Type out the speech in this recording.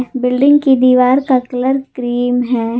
Building की दीवार का कलर क्रीम है।